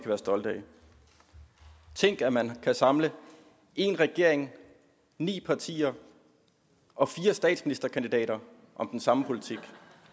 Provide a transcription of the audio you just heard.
være stolte af tænk at man kan samle en regering ni partier og fire statsministerkandidater om den samme politik